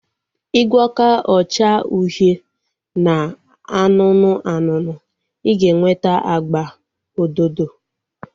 I gwọkọ ọcha uhie na anụnụ anụnụ, I ga-enweta agba ododo